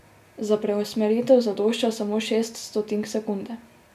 Za preusmeritev zadošča samo šest stotink sekunde.